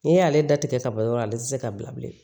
N'i y'ale da tigɛ ka bɔ yɔrɔ la ale ti se ka bila bilen